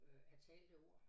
Øh af talte ord